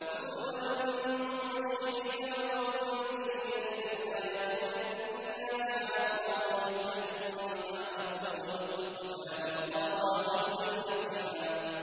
رُّسُلًا مُّبَشِّرِينَ وَمُنذِرِينَ لِئَلَّا يَكُونَ لِلنَّاسِ عَلَى اللَّهِ حُجَّةٌ بَعْدَ الرُّسُلِ ۚ وَكَانَ اللَّهُ عَزِيزًا حَكِيمًا